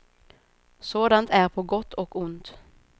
Sådant är på gott och ont.